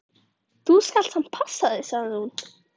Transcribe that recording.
Þú skalt samt passa þig, sagði hún.